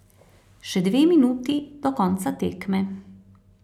Še dve minuti do konca tekme.